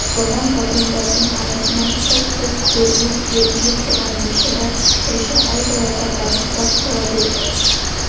зулаған вагондардың арасынан қылт-қылт көрініп ербиіп тұрған бейшара қойшы айдалада бажылдап қала берді